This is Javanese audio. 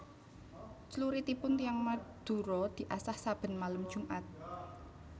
Cluritipun tiyang Madura diasah saben malem jumat